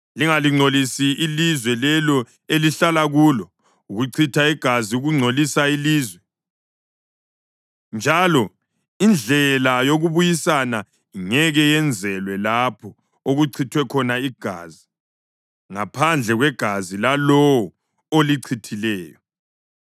Lingalingcolisi ilizwe lelo elihlala kulo. Ukuchitha igazi kungcolisa ilizwe, njalo indlela yokubuyisana ingeke yenzelwe lapho okuchithwe khona igazi, ngaphandle kwegazi lalowo olichithileyo.